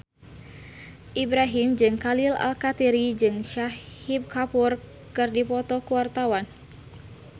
Ibrahim Khalil Alkatiri jeung Shahid Kapoor keur dipoto ku wartawan